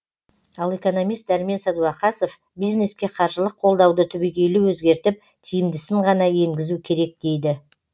ал экономист дәрмен сәдуақасов бизнеске қаржылық қолдауды түбегейлі өзгертіп тиімдісін ғана енгізу керек дейді